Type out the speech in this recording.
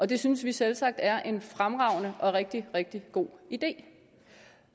det synes vi selvsagt er en fremragende og rigtig rigtig god idé